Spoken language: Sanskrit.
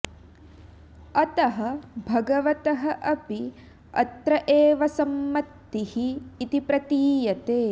अतः भगवतः अपि अत्र एव सम्मतिः इति प्रतीयते